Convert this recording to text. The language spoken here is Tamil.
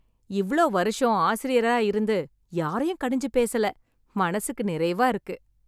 இவ்ளோ வருஷம் ஆசிரியரா இருந்து யாரையும் கடிஞ்சு பேசல, மனசுக்கு நிறைவா இருக்கு.